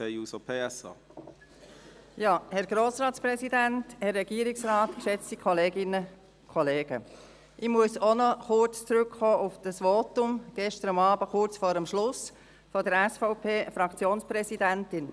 Ich muss auch noch, kurz vor dem Schluss, kurz auf das Votum der SVP-Fraktionspräsidentin von gestern Abend zurückkommen.